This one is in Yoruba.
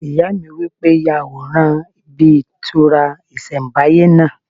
Ìyá mi wí pé "Ya àwòrán ibí ìtura ìsẹ̀nbáyé náà"